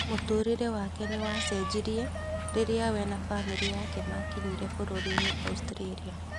Mũtũrĩre wake nĩwacejirie rĩria we na bamiri yake makinyire bũrũrĩnĩ Australia